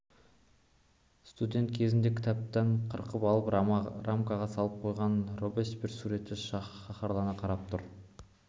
студент кезінде кітаптан қырқып алып рамаға салып қойған робеспьер суреті қаһарлана қарап тұр